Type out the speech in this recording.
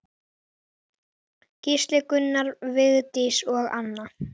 Gísli, Gunnar, Vigdís og Anna.